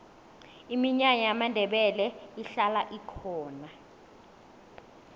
iminyanya yamandebele ihlala ikhona